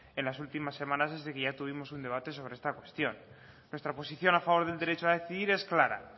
en las últimas semanas desde que ya tuvimos un debate sobre esta cuestión nuestra posición a favor del derecho a decidir es clara